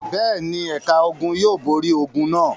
Bẹ́ẹ̀ ni, ẹ̀ka ogun yóò borí ogun náà.